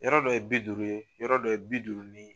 Yɔrɔ dɔ ye bi duuru ye yɔrɔ dɔ ye bi duuru ni